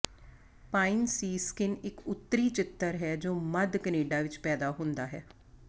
pine siskin ਇੱਕ ਉੱਤਰੀ ਚਿਤਰ ਹੈ ਜੋ ਮੱਧ ਕੈਨੇਡਾ ਵਿੱਚ ਪੈਦਾ ਹੁੰਦਾ ਹੈ